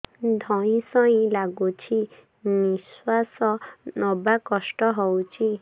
ଧଇଁ ସଇଁ ଲାଗୁଛି ନିଃଶ୍ୱାସ ନବା କଷ୍ଟ ହଉଚି